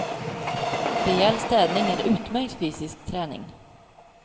Rejäl städning är utmärkt fysisk träning.